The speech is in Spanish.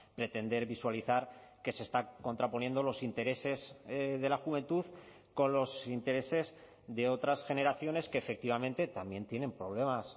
pretender visualizar que se está contraponiendo los intereses de la juventud con los intereses de otras generaciones que efectivamente también tienen problemas